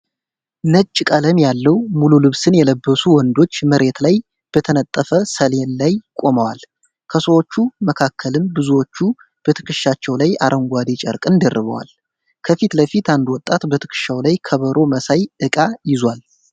ነጭ ቀለም ያለው ሙሉ ልብስን የለበሱ ወንዶች መሬት ላይ በተነጠፈ ሰሌን ላይ ቆመዋል። ከሰዎቹ መካከልም ብዙዎቹ በትከሻቸው ላይ አረንጓዴ ጨርቅን ደርበዋል። ከፊት ለፊት አንድ ወጣት በትከሻው ላይ ከበሮ መሳይ እቃ ይዟል።